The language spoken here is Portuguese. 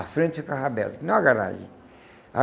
A frente ficava aberta, que nem uma garagem.